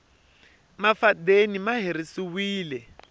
mafadeni ma herisiwile